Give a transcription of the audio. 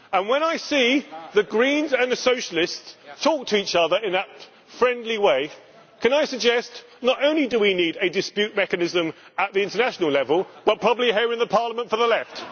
And when I see the Greens and the Socialists talk to each other in that friendly way, can I suggest that not only do we need a dispute mechanism at international level, but probably here in Parliament for the Left.